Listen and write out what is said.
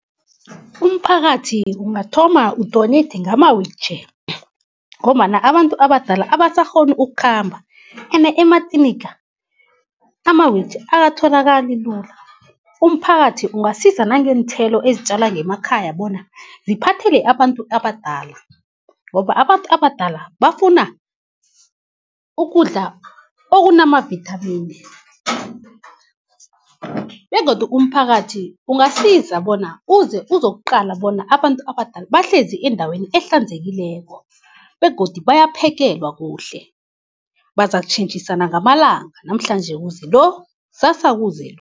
Umphakathi ungathoma u-donate ngama-wheelchair , ngombana abantu abadala abasakghoni ukukhamba ene ematliniga ama-wheelchair akatholakali lula. Umphakathi ungasiza nangeenthelo ezitjala ngemakhaya bona ziphathele abantu abadala, ngoba abantu abadala bafuna ukudla okunamavithamini. Begodu umphakathi ungasiza bona uze uzokuqala bona abantu abadala bahlezi endaweni ehlanzekileko begodu bayaphekelwa kuhle, bazakutjhentjhisana ngamalanga namhlanje kuze lo, ksasa kuze lo.